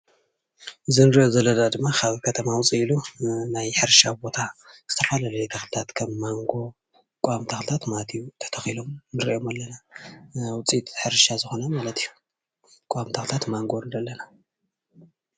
እዚ እንሪኦ ዘለና ድማ ካብ ከተማ ውፅእ ኢሉ ናይ ሕርሻ ቦታ ዝተፈላለዩ ተክልታት ከም ማንጎ ቀዋሚ ታክለታት ማለት እዩ ተተኪሎም ንሪኦም ኣለና ማለት እዩ፡፡ ናይ ውፅኢት ሕርሻ ዝኮነ ማለት እዩ ቆዋሚ ታክልታት ማንጎ ንርኢ ኣለና፡፡